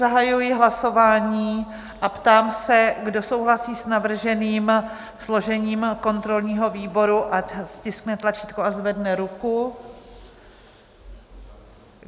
Zahajuji hlasování a ptám se, kdo souhlasí s navrženým složením kontrolního výboru, ať stiskne tlačítko a zvedne ruku.